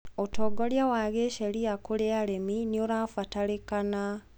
ũtongoria wa gĩsheria kwĩ arĩmi nĩũrabatarĩkana.